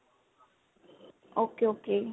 ok ok